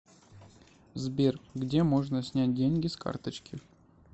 сбер где можно снять деньги с карточки